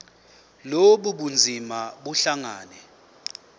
lobu bunzima buhlangane